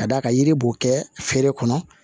Ka d'a kan yiri b'o kɛ feere kɔnɔ